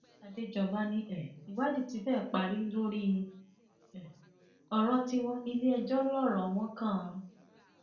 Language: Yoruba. àdéjọba ni um ìwádìí ti fẹẹ parí lórí um ọrọ tiwọn iléẹjọ lọrọ wọn kan